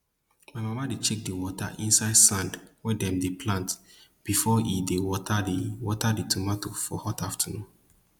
my mama dey check di water inside sand wey dem dey plant before e dey water di water di tomato for hot afternoon